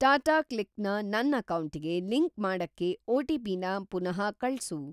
ಟಾಟಾಕ್ಲಿಕ್ ನ ನನ್‌ ಅಕೌಂಟಿಗೆ ಲಿಂಕ್‌ ಮಾಡಕ್ಕೆ ಒ.ಟಿ.ಪಿ.ನ ಪುನಃ ಕಳ್ಸು.